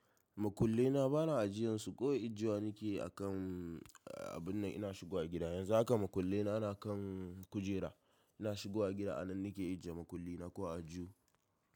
Makulle na bana ajiyansu, kawai ajiyewa nake akan abun nan ina shigo gida. Yanzu haka makulle na ana kan kujera. Ina shigowa gida a nan nake ajiye makulle na ko a aljihu.